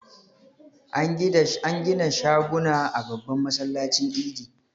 An gida shaguna a babban masallacin Idi.